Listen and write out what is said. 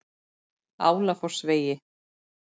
Álafossvegi